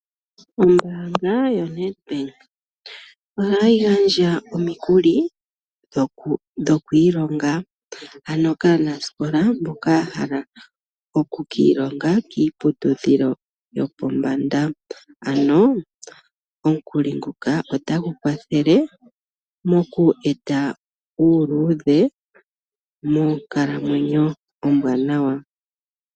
Ombaanga yoNedbank ohayi gandja omikuli dhokwiilonga. Ano kaanasikola mboka yahala okukiilonga kiiputudhilo yopombanda. Omikuli nguka otagu kwathele moku eta uuluudhe monkalamwenyo ombwaanawa.